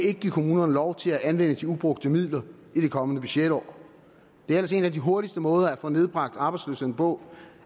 ikke give kommunerne lov til at anvende de ubrugte midler i det kommende budgetår en af de hurtigste måder at få nedbragt arbejdsløsheden på